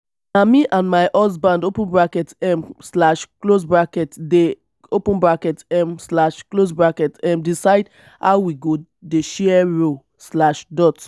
na me and my husband um dey um decide how we go dey share roles.